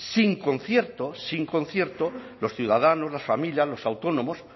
sin concierto sin concierto los ciudadanos las familias los autónomos